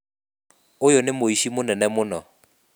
Uyu nĩ mũici mũnene mũno